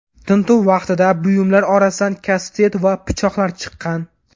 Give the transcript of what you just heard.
Tintuv vaqtida buyumlar orasidan kastet va pichoqlar chiqqan.